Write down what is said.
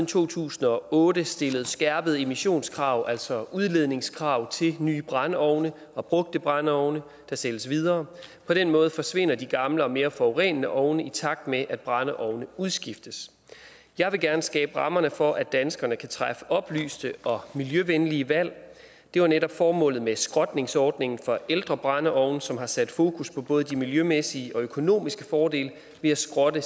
to tusind og otte stillet skærpede emissionskrav altså udledningskrav til nye brændeovne og brugte brændeovne der sælges videre på den måde forsvinder de gamle og mere forurenende ovne i takt med at brændeovne udskiftes jeg vil gerne skabe rammerne for at danskerne kan træffe oplyste og miljøvenlige valg det var netop formålet med skrotningsordningen for ældre brændeovne som har sat fokus på både de miljømæssige og økonomiske fordele ved at skrotte